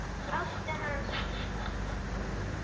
Ástu hans